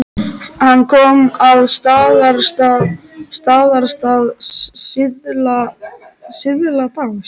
Hann kom að Staðarstað síðla dags.